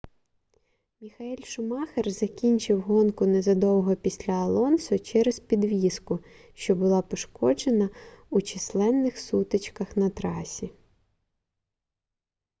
міхаель шумахер закінчив гонку незадовго після алонсо через підвіску що була пошкоджена у численних сутичках на трасі